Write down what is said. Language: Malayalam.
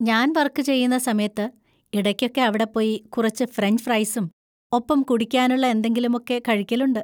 ഞാൻ വർക്ക് ചെയ്യുന്ന സമയത്ത് ഇടയ്‌ക്കൊക്കെ അവിടെ പോയി കുറച്ച് ഫ്രഞ്ച് ഫ്രെയ്‌സും ഒപ്പം കുടിക്കാനുള്ള എന്തെങ്കിലുമൊക്കെ കഴിക്കലുണ്ട്.